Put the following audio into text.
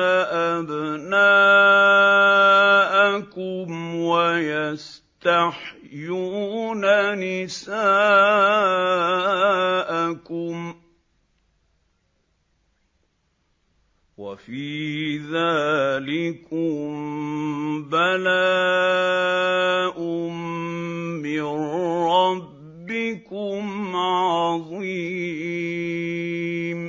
أَبْنَاءَكُمْ وَيَسْتَحْيُونَ نِسَاءَكُمْ ۚ وَفِي ذَٰلِكُم بَلَاءٌ مِّن رَّبِّكُمْ عَظِيمٌ